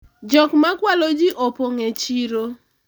jok ma kwalo ji opong' e chiro